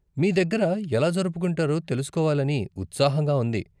మీ దగ్గర ఎలా జరుపుకుంటారో తెలుకోవాలని ఉత్సాహంగా ఉంది.